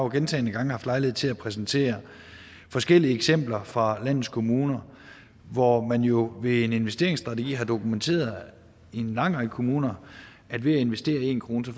gentagne gange haft lejlighed til at præsentere forskellige eksempler fra landets kommuner hvor man jo ved en investeringsstrategi har dokumenteret i en lang række kommuner at ved at investere en krone får